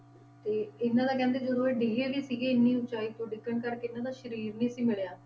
ਤੇ ਇਹਨਾਂ ਦਾ ਕਹਿੰਦੇ ਜਦੋਂ ਇਹ ਡਿੱਗੇ ਵੀ ਸੀਗੇ ਇੰਨੀ ਉਚਾਈ ਤੋਂ ਡਿੱਗਣ ਕਰਕੇ ਇਹਨਾਂ ਦਾ ਸਰੀਰ ਨੀ ਸੀ ਮਿਲਿਆ।